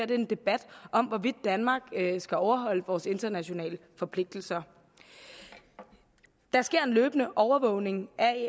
det er en debat om hvorvidt danmark skal overholde vores internationale forpligtelser der sker en løbende overvågning af